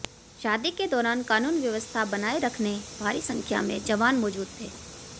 शादी के दौरान कानून व्यवस्था बनाए रखने भारी संख्या में जवान मौजूद थे